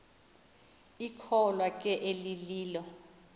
ikholwa ke elililo